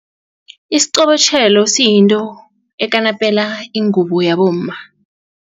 Isiqobotjhelo siyinto ekanapela ingubo yabomma.